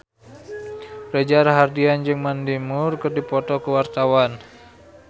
Reza Rahardian jeung Mandy Moore keur dipoto ku wartawan